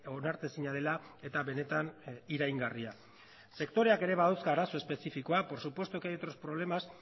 onartezina dela eta benetan iraingarria sektoreak ere badauzka arazo espezifikoak por supuesto que hay otros problemas